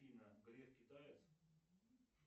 афина греф китаец